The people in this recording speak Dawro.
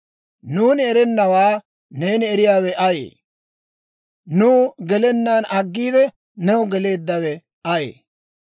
Nuuni erennawaa neeni eriyaawe ayee? Nuw gelennaan aggiide, new geleeddawe ayee?